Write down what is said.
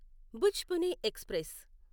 Bhuj Pune express